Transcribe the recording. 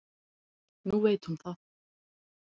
Nú veit hún það.